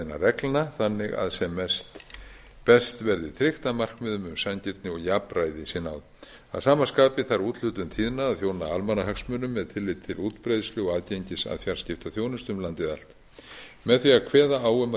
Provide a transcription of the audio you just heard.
reglna þannig að sem best verði tryggt að markmiðum um sanngirni og jafnræði sé náð að sama skapi þarf úthlutun tíðna að þjóna almannahagsmunum með tilliti til útbreiðslu og aðgengis að fjarskiptaþjónustu um landið allt með því að kveða á um